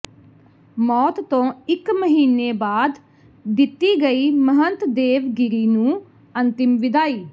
ਮੌਤ ਤੋਂ ਇਕ ਮਹੀਨੇ ਬਾਅਦ ਦਿੱਤੀ ਗਈ ਮਹੰਤ ਦੇਵਗਿਰੀ ਨੂੰ ਅੰਤਿਮ ਵਿਦਾਈ